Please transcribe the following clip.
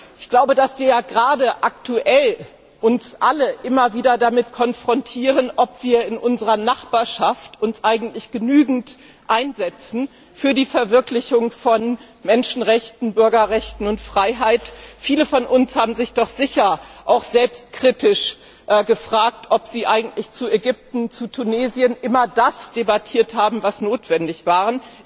Wir werden ja gerade aktuell alle immer wieder mit der Frage konfrontiert, ob wir uns in unserer Nachbarschaft eigentlich genügend für die Verwirklichung von Menschenrechten, Bürgerrechten und Freiheit einsetzen. Viele von uns haben sich doch sicher auch selbstkritisch gefragt, ob sie eigentlich zu Ägypten, zu Tunesien immer das debattiert haben, was notwendig war.